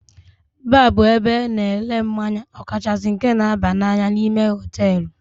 Baar bụ ebe ana ere mmanya okachasi nke na-aba n'anya, n'ime hotelú.